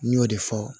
N y'o de fɔ